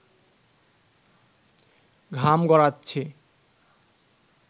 ঘাম গড়াচ্ছে